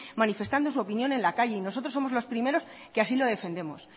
manifestando su opinión en la calle y nosotros somos los primeros que así lo defendemos